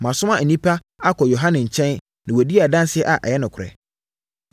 “Moasoma nnipa akɔ Yohane nkyɛn na wadi adanseɛ a ɛyɛ nokorɛ.